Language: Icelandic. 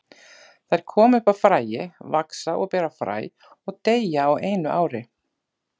Þær koma upp af fræi, vaxa og bera fræ og deyja á einu ári.